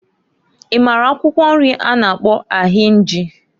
I mara akwụkwọ nri a na-akpọ ahinji?